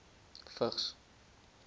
vigs